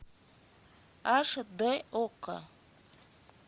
аш д окко